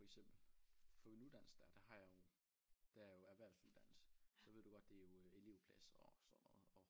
For eksempel på min uddannelse dér der har jeg jo der er jo erhvervsuddannelse så ved du godt det er jo elevplads og sådan noget og